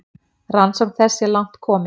Rannsókn þess sé langt komin.